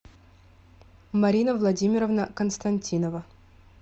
марина владимировна константинова